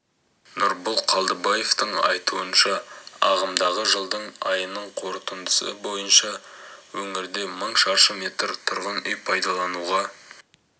нұрбол қалдыбаевтың айтуынша ағымдағы жылдың айының қорытындысы бойынша өңірде мың шаршы метр тұрғын үй пайдалануға